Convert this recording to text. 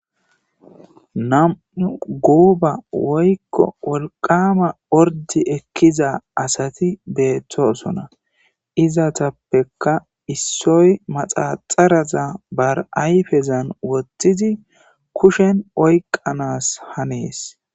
Namu guuba woykko wolqama ordi ekkiza asati beettosona izatappekka issoy maxaxaraza bar'ayfezan wottidi kushen oyqanas hanees